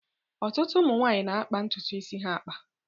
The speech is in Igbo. Ọtụtụ ụmụ nwaanyi na-akpa ntutu isi ha akpa.